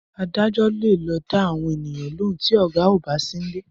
Adájọ́ le lo da àwọn eyan lóun ti oga ọba Sin le